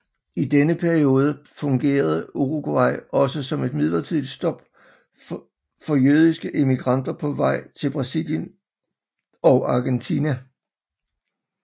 I denne periode fungerede Uruguay også som et midlertidigt stop for jødiske immigranter på vej til Brasilien og Argentina